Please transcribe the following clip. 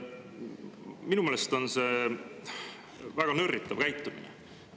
Minu meelest on see väga nörritav käitumine.